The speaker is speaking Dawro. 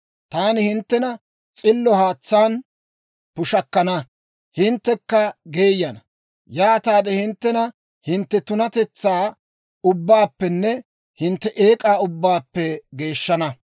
Taani hinttena s'illo haatsaan pushakkana; hinttekka geeyana; yaataade hinttena hintte tunatetsaa ubbaappenne hintte eek'aa ubbaappe geeshshana.